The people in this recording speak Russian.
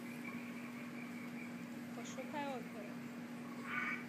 пошукай оперу